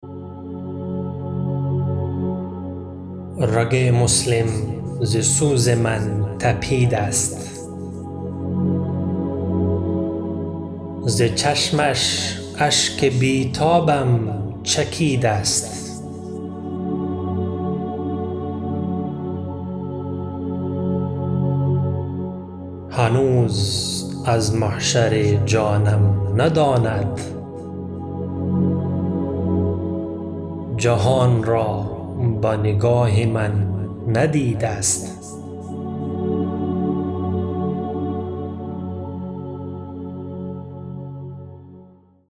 رگ مسلم ز سوز من تپید است ز چشمش اشک بیتابم چکید است هنوز از محشر جانم نداند جهان را با نگاه من ندید است